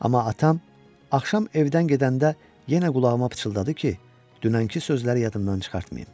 Amma atam axşam evdən gedəndə yenə qulağıma pıçıldadı ki, dünənki sözləri yadımdan çıxartmayın.